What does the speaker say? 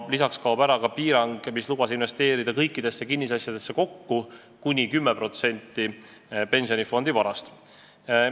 Lisaks kaob ära piirang, mis lubas investeerida kõikidesse kinnisasjadesse kokku kuni 10% pensionifondi varast.